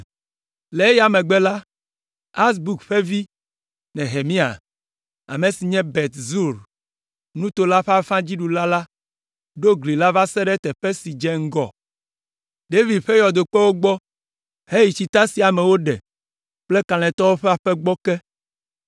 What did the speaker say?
Le eya megbe la, Azbuk ƒe vi, Nehemia, ame si nye Bet Zur nuto la ƒe afã dziɖula la ɖo gli la va se ɖe teƒe si dze ŋgɔ David ƒe yɔdokpewo gbɔ heyi Tsita si amewo ɖe kple Kalẽtɔwo ƒe Aƒe gbɔ ke.